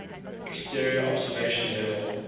exterior observation level